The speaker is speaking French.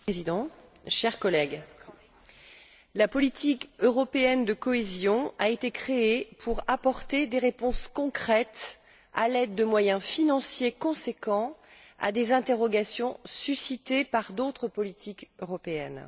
Monsieur le Président, chers collègues, la politique européenne de cohésion a été créée pour apporter des réponses concrètes, à l'aide de moyens financiers conséquents, à des interrogations suscitées par d'autres politiques européennes.